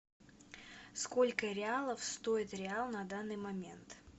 сколько реалов стоит реал на данный момент